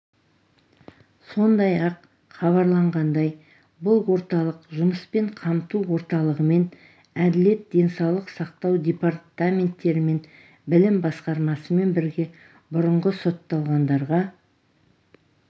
сондай-ақ хабарланғандай бұл орталық жұмыспен қамту орталығымен әділет денсаулық сақтау департаменттерімен білім басқармасымен бірге бұрынғы сотталғандарға